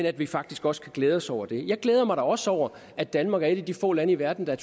at vi faktisk også kan glæde os over det jeg glæder mig da også over at danmark er et af de få lande i verden der